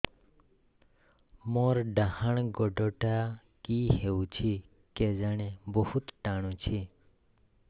ମୋର୍ ଡାହାଣ୍ ଗୋଡ଼ଟା କି ହଉଚି କେଜାଣେ ବହୁତ୍ ଟାଣୁଛି